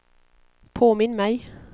påminn mig